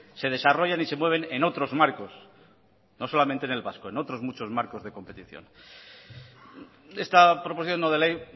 se desarrollan y se mueven en otros marcos no solamente en el vasco en otros muchos marcos de competición esta proposición no de ley